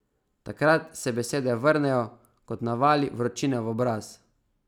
Takrat se besede vrnejo kot navali vročine v obraz.